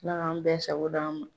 Ala ka an bɛɛ sago di an ma.